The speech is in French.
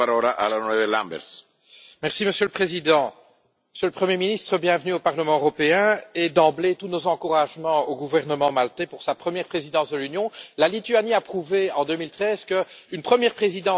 Monsieur le Président, Monsieur le Premier ministre, bienvenue au Parlement européen et, d'emblée, tous nos encouragements au gouvernement maltais pour sa première présidence de l'Union. La Lituanie a prouvé en 2013 qu'une première présidence d'un petit pays pouvait être un succès.